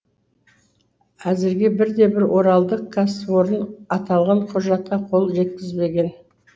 әзірге бірде бір оралдық кәсіпорын аталған құжатқа қол жеткізбеген